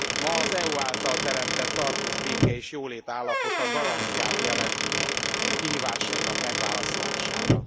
Ma az EU által teremtett tartós béke és jólét állapota garanciát jelent kihívásainak megválaszolására.